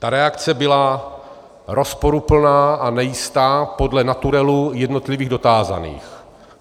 Ta reakce byla rozporuplná a nejistá, podle naturelu jednotlivých dotázaných.